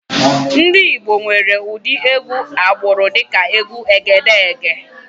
Ndị Igbo nwekwara ụdị egwú agbụrụ dịka egwu Egedegè.